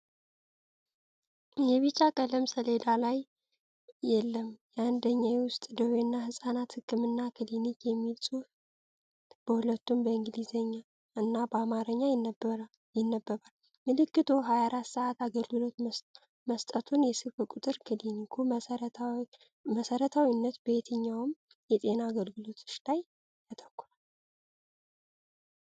የቢጫ ቀለም ሰሌዳ ላይ "የለም 1ኛ የውስጥ ደዌና ሕፃናት ሕክምና ክሊኒክ" የሚል ጽሑፍ በሁለቱም በእንግሊዝኛ እና በአማርኛ ይነበባል። ምልክቱ 24 ሰዓት አገልግሎት መስጠቱን፣ የስልክ ቁጥር። ክሊኒኩ በመሠረታዊነት በየትኞቹ የጤና አገልግሎቶች ላይ ያተኩራል?